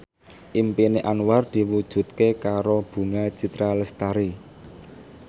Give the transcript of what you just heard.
impine Anwar diwujudke karo Bunga Citra Lestari